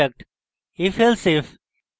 ifelsif এবং